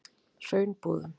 Hraunbúðum